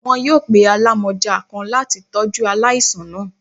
Wọn yoo pe alamọja kan lati tọju alaisan naa.